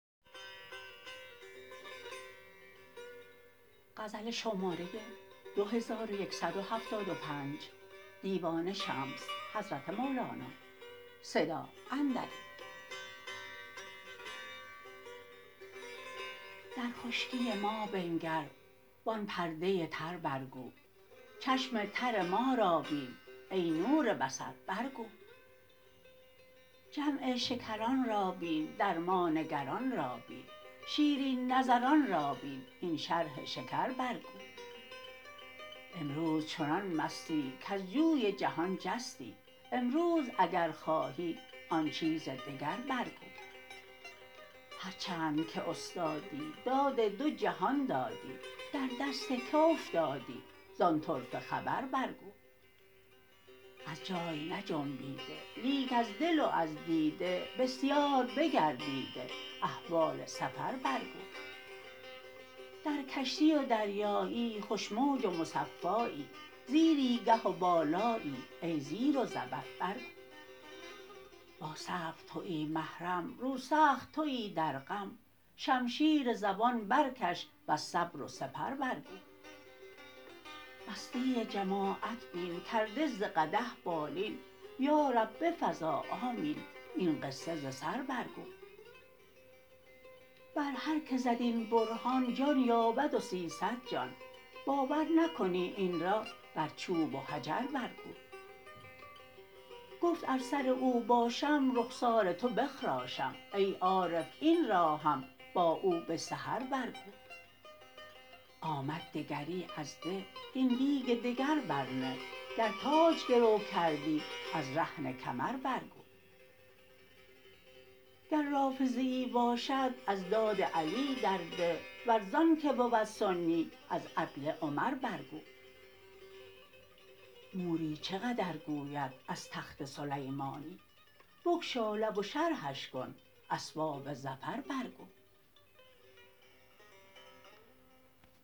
در خشکی ما بنگر وآن پرده تر برگو چشم تر ما را بین ای نور بصر برگو جمع شکران را بین در ما نگران را بین شیرین نظران را بین هین شرح شکر برگو امروز چنان مستی کز جوی جهان جستی امروز اگر خواهی آن چیز دگر برگو هر چند که استادی داد دو جهان دادی در دست که افتادی زان طرفه خبر برگو از جای نجنبیده لیک از دل و از دیده بسیار بگردیده احوال سفر برگو در کشتی و دریایی خوش موج و مصفایی زیری گه و بالایی ای زیر و زبر برگو با صبر تویی محرم روسخت تویی در غم شمشیر زبان برکش وز صبر و سپر برگو مستی جماعت بین کرده ز قدح بالین یا رب بفزا آمین این قصه ز سر برگو بر هر که زد این برهان جان یابد و سیصد جان باور نکنی این را بر چوب و حجر برگو گفت ار سر او باشم رخسار تو بخراشم ای عارف این را هم با او به سحر برگو آمد دگری از ده هین دیگ دگر برنه گر تاج گرو کردی از رهن کمر برگو گر رافضیی باشد از داد علی در ده ور زآنک بود سنی از عدل عمر برگو موری چه قدر گوید از تخت سلیمانی بگشا لب و شرحش کن اسباب ظفر برگو